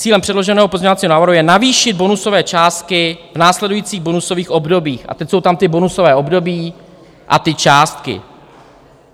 Cílem předloženého pozměňovacího návrhu je navýšit bonusové částky v následujících bonusových obdobích, a teď jsou tam ta bonusová období a ty částky.